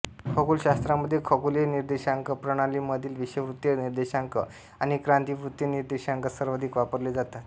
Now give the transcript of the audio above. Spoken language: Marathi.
खगोलशास्त्रामध्ये खगोलीय निर्देशांक प्रणालीमधील विषुववृत्तीय निर्देशांक आणि क्रांतीवृत्तीय निर्देशांक सर्वाधिक वापरले जातात